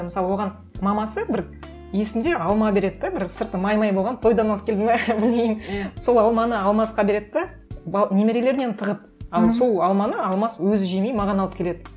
мысалы оған мамасы бір есімде алма береді де бір сырты май май болған тойдан алып келді ме білмеймін сол алманы алмасқа береді де немерелерінен тығып ал сол алманы алмас өзі жемей маған алып келеді